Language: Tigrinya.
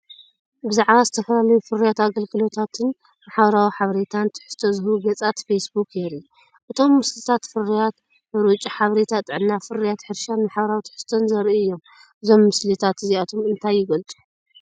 ብዛዕባ ዝተፈላለዩ ፍርያት፣ ኣገልግሎታትን ማሕበራዊ ሓበሬታን ትሕዝቶ ዝህቡ ገጻት ፌስቡክ የርኢ። እቶም ምስልታት ፍርያት ሓርጭ፡ ሓበሬታ ጥዕና፡ ፍርያት ሕርሻን ማሕበራዊ ትሕዝቶን ዘርእዩ እዮም። እዞም ምስልታት እዚኣቶም እንታይ ይገልጹ?